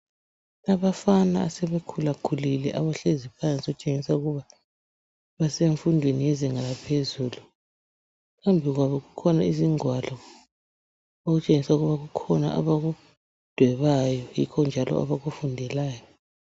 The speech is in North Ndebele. Abafana asebekhulakhulile abahlezi phansi, okutshengisa ukuba basemfundweni yezinga yaphezulu. Phambi kwabo kukhona izingwalo okutshengisa ukuba kukhona abakudwebayo, yikho njalo abakufundelayo.